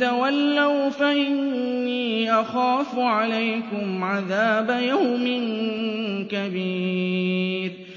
تَوَلَّوْا فَإِنِّي أَخَافُ عَلَيْكُمْ عَذَابَ يَوْمٍ كَبِيرٍ